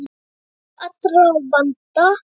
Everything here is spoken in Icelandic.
Leystur allra vandi.